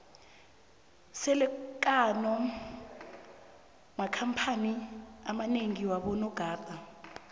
siele kano makhamphani amanengi wabo nogada